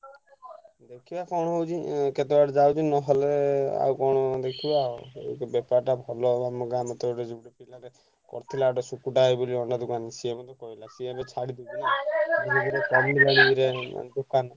ଦେଖିବା କଣ ହଉଛି ଉଁ କେତେ ବାଟ ଯାଉଛି ନହେଲେ ଆଉ କଣ ଦେଖିବା। ଏଇତ ବେପାରଟା ଭଲ ହବ ଆମ ଗାଁ କରିଥିଲା ଗୋଟେ ସୁକୁଟା ଭାଇ ବୋଲି ଅଣ୍ଡା ଦୋକାନ ସିଏବି ମତେ କହିଲା ସିଏ ଏବେ ଛାଡି ଦେଇଛି। ଦୋକନ।